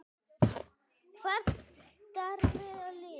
Hvert stefnir liðið?